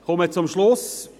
Ich komme zum Schluss: